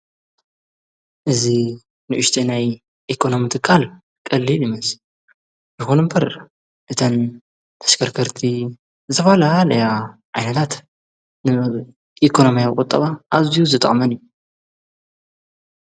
እዝ ንኡሽተናይ ኤኮኖምቲ ቓል ቐልየ ድ ይመዝ ይኾኑ እምበር እተን ተሽከርከርቲ ዝባላ ለያ ኣይናታት ንመብ ኢኮኖምያ ቖጠባ ኣዝዩ ዝጣመን እዩ።